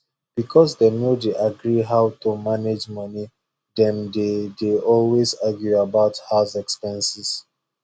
because dem no dey agree how to manage money dem dey dey always argue about house expenses